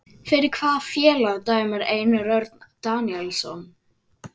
Fyrir hvaða félag dæmir Einar Örn Daníelsson?